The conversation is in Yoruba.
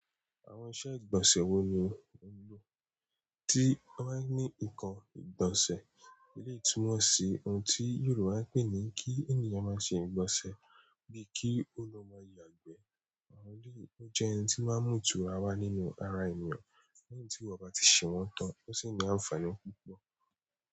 Àwọn iṣẹ́ ìgbọ̀nsẹ̀ wo ni ó ń lò tí wọ́n ba ní nǹkan ìgbọ̀nsẹ̀? Ilé ìtumọ̀ sí ohun tí Yorùbá ń pè ní kí ènìyàn máa ṣe ìgbọ̀nsẹ̀ bíi kí ó lọ máa yàgbẹ́. Àwọn eleyi o jẹ n ti o maa n mu ìtura wa nínú ara ènìyàn lẹ́yìn tiniwọ bati sewọn tan, o si ni àǹfààní púpọ̀.